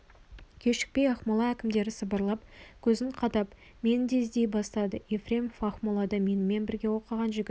кешікпей ақмола әкімдері сыбырлап көзін қадап мені де іздей бастады ефремов ақмолада менімен бірге оқыған жігіт